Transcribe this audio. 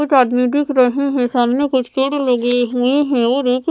कुछ आदमी दिख रहे हैं सामने कुछ पेड़ लगे हुए हैं और एक--